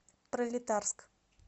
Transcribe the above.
пролетарск